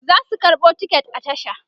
zasu karɓo ticket a tasha